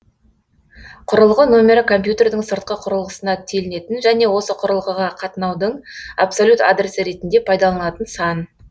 құрылғы нөмірі компьютердің сыртқы қүрылғысына телінетін және осы құрылғыға қатынаудың абсолют адресі ретінде пайдаланылатын сан